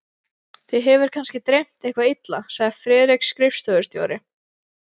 Þig hefur kannski dreymt eitthvað illa, sagði Friðrik skrifstofustjóri.